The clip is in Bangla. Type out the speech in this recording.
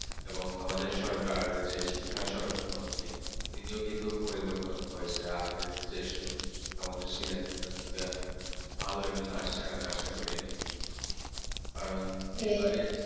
এবং আমাদের যে সরকার যে শিক্ষা মন্ত্রী তিনিও কিন্তু পরিবর্তন হয়েছে আগের যেসব শিক্ষামন্ত্রী ছিলেন তার থেকে ভালো একজন আসছে আমি আশা করি কারণ এবারে